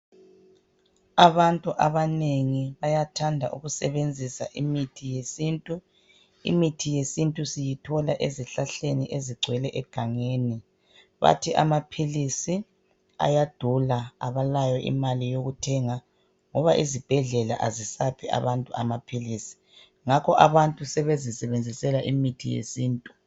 Abantu abanengi bayathanda ukusebenzisa imithi yesintu. Imithi yesintu siyithola ezihlahleni ezigcwele egangeni, bathi amaphilisi ayadula abalayo imali yokuthenga ngoba izibhedlela azisaphi abantu amaphilisi ngakho abantu sebezisebenzisela imithi yesintu.